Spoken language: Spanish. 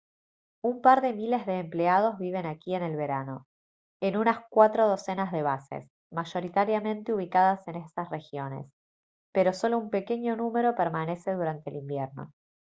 un par de miles de empleados viven aquí en el verano en unas cuatro docenas de bases mayoritariamente ubicadas en esas regiones pero sólo un pequeño número permanece durante el invierno